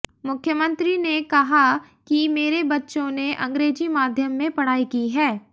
मुख्यमंत्री ने कहा कि मेरे बच्चों ने अंग्रेजी माध्यम में पढ़ाई की है